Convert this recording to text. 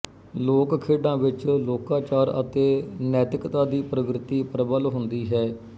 ਲੋਕ ਖੇਡਾਂ ਵਿਚ ਲੋਕਾਚਾਰ ਅਤੇ ਨੈਤਿਕਤਾ ਦੀ ਪ੍ਰਵਿਰਤੀ ਪ੍ਰਬਲ ਹੁੰਦੀ ਹੈ